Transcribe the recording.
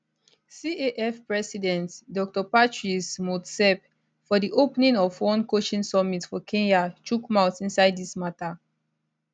caf president dr patrice motsepe for di opening of one coaching summit for kenya chook mouth inside dis mata